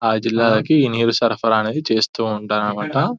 ఆ జిల్లాకు నీళ్లు సరఫరా అనేది చేస్తూ ఉంటారు అనమాట --